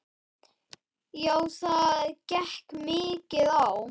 Já, það gekk mikið á.